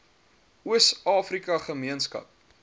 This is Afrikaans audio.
oos afrika gemeenskap